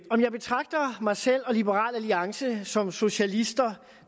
om jeg betragter mig selv og liberal alliance som socialister